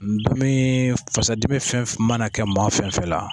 Ndomi fasadimi fɛn fɛn mana kɛ ma fɛnfɛn na.